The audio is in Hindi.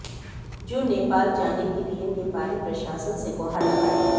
जो नेपाल जाने के लिए नेपाली प्रशासन से गुहार लगाए